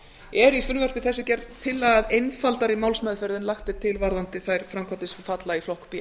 er í frumvarpi þessu gerð tillaga um einfaldari málsmeðferð en lagt er til varðandi þær framkvæmdir sem falla í flokk b